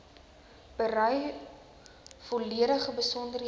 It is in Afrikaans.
berei volledige besonderhede